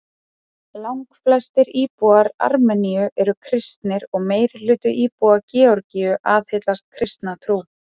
Langflestir íbúar Armeníu eru kristnir og meirihluti íbúa Georgíu aðhyllist kristna trú.